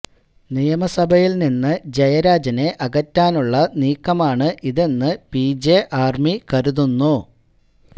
നിയമസഭയിൽ നിന്ന് ജയരാജനെ അകറ്റാനുള്ള നീക്കമാണ് ഇതെന്ന് പിജെ ആർമി കരുതുന്നു